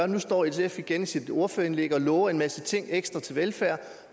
nu står sf igen i sit ordførerindlæg og lover en masse ting ekstra til velfærd